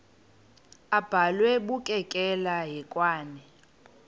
abhalwe bukekela hekwane